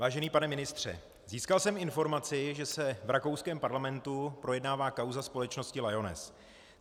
Vážený pane ministře, získal jsem informaci, že se v rakouském parlamentu projednává kauza společnosti Lyoness.